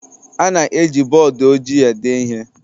A na-eji bọọdụ ojii ede ihe